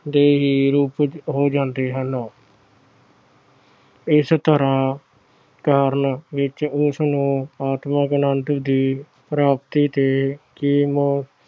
ਦੇ ਹੀ ਰੂਪ ਹੋ ਜਾਂਦੇ ਹਨ। ਇਸ ਤਰ੍ਹਾਂ ਕਰਨ ਵਿੱਚ ਉਸਨੂੰ ਆਤਮਿਕ ਆਨੰਦ ਦੀ ਪ੍ਰਾਪਤੀ ਤੇ